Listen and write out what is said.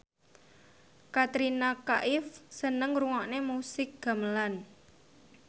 Katrina Kaif seneng ngrungokne musik gamelan